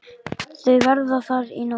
Þau verða þar í nótt.